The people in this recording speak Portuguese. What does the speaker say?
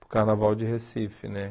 para o Carnaval de Recife, né?